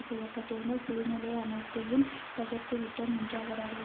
செய்ய பட்டிருந்த சூழ்நிலை அனைத்தையும் தகர்த்துவிட்டோம் என்று அவர் அறிவி